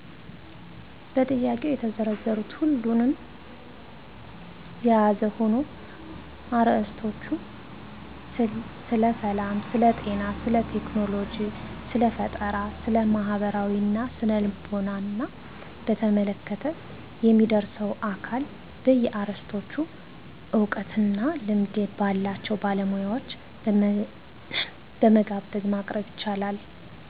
በጥያቄው የተዘረዘሩት ሁሉንም የያዘ ሁኖ አርዕሰቶቹ ስለሰላም፣ ስለጤና፣ ስለቴክኖሎጂ፣ ስለፈጠራ፣ ስለማህበራዊና ስነ-ልቦና በተመለከተ የሚያደርሰው አካል በየአርዕስቶቹ እውቀትና ልምድ ባላቸው ባለሙያዎችን በመጋበዝ ማቅረብ ይቻላል።